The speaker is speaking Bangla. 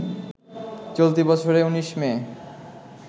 চলতি বছরে ১৯ মে